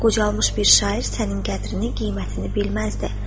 Qocalmış bir şair sənin qədrini, qiymətini bilməzdi.